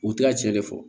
U tɛ a tiɲɛ de fɔ